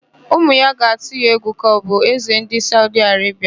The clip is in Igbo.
Ụmụ ya ga-atụ ya egwu ka ọ bụ Ézē ndị Saudi Arebia.